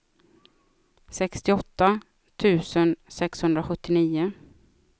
sextioåtta tusen sexhundrasjuttionio